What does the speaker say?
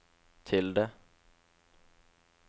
tilde